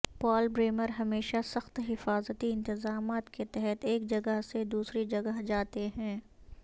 پال Bremer ہمیشہ سخت حفاظتی انتظامات کے تحت ایک جگہ سے دوسری جگہ جاتے ہیں